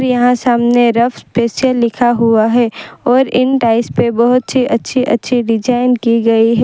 यहां सामने रफ़ पीछे लिखा हुआ है और इन टाइल्स पे बहोत ही अच्छे अच्छे डिजाइन की गई--